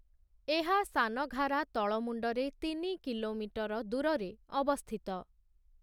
ଏହା ସାନାଘାରା ତଳମୁଣ୍ଡରେ ତିନି କିଲୋମିଟର ଦୂର ରେ ଅବସ୍ଥିତ ।